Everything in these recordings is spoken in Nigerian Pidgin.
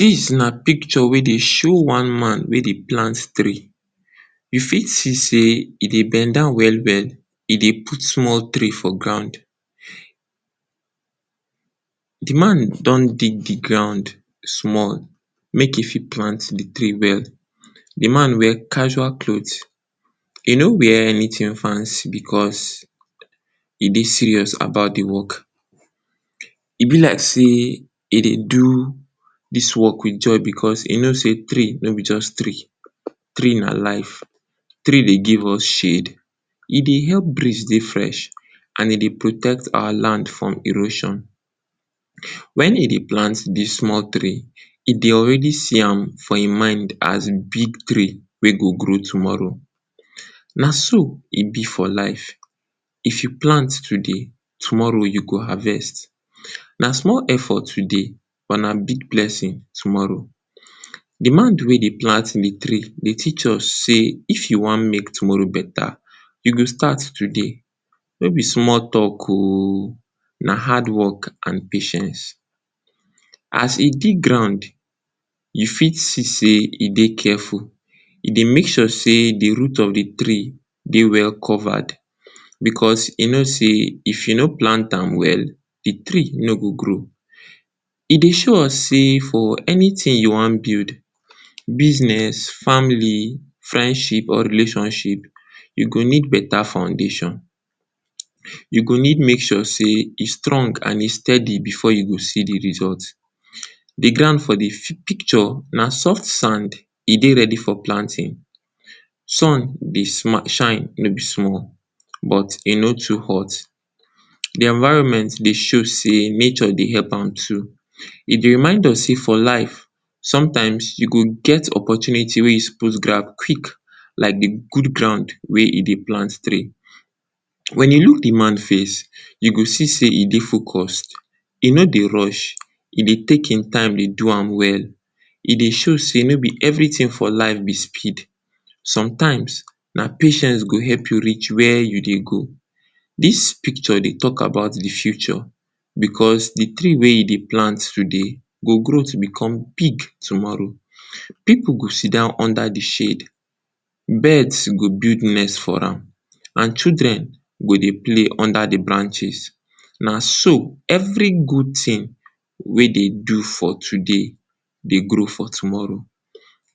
Dis na picture wey dey show one-man wey dey plant tree. You fit see sey e dey bend down well-well, e dey put small tree for ground. De man don dig de ground small make e fit plant de tree well. De man wear casual cloths e no wear anything fancy because, e dey serious about de work. E be like sey e dey do dis work with joy because e know sey tree no be just tree. Tree na life, tree dey give us shade, e dey help breeze dey fresh and e dey protect our land from erosion. Wen e dey plant de small tree, e dey already see am for im mind as big tree wey go grow tomorrow. Na so e be for life, if you plant today tomorrow you go harvest. Na small effort today but na big bless tomorrow. De wey dey plant de tree dey teach us sey, if you wan make tomorrow beta you go start today. No be small talk OO, na hard work and patience. As e dig ground you fit see sey e dey careful, e dey make sure sey de root of de tree dey well covered. Because e know sey if e no plant am well de tree no go grow. E dey show us sey for anything you wan build, business, family, friendship or relationship you go need beta foundation. You go need make sure sey e strong and e steady before you go see de result. De ground for de picture, na soft sand e dey ready for planting. Sun dey shine no be small but e no too hot. De environment dey show sey nature dey help am too. E dey remind us sey for life, sometimes you go get opportunity wey you suppose grab quick like de good ground wey e dey plant tree. Wen you look de man face you go see sey e dey focused, e no dey rush e dey take im time dey do am well. E dey show sey no be everything for life be speed, sometimes na patience go help you reach where you dey go. Dis picture dey talk about de future because de tree wey e dey plant today, go grow to become big tomorrow. Pipu go sit-down under de tree, birds go build nest for am, and children go dey play under de branches na so every good thing wey dey do for today dey grow for tomorrow.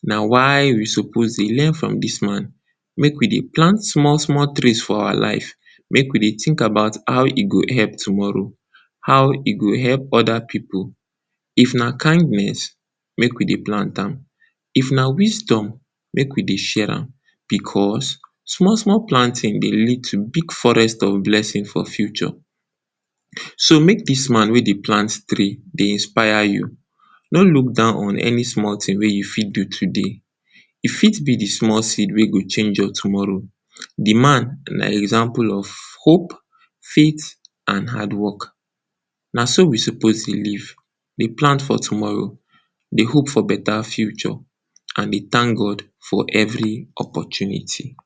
Na why we suppose dey learn from dis man, make we dey plant small-small trees for our lives make we dey think about how e go help tomorrow, how e go help other pipu. If na kindness, make we dey plant am, if na wisdom make we dey share am because, small-small planting dey lead to big forest of blessing for future. So, make dis man wey dey plant tree dey inspire you, no look down on any small thing wey you fit so today. E fit be de small seed wey go change your tomorrow. De man na example of hope, faith, and hard work. Na so we suppose dey live, dey plant for tomorrow, dey hope for beta future and dey thank God for every opportunity.